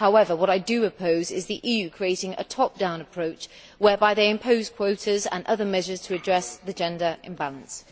However, what I do oppose is the EU creating a top down approach, whereby they impose quotas and other measures to address the gender imbalance.